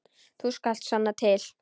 Þú skalt sanna til.